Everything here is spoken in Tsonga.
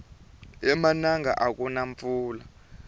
emananga akuna mpfula